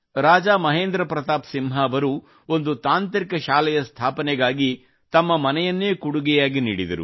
ರಾಜಾ ಮಹೇಂದ್ರ ಪ್ರತಾಪ್ ಸಿಂಹ ಅವರು ಒಂದು ತಾಂತ್ರಿಕ ಶಾಲೆಯ ಸ್ಥಾಪನೆಗಾಗಿ ತಮ್ಮ ಮನೆಯನ್ನೇ ಕೊಡುಗೆಯಾಗಿ ನೀಡಿದರು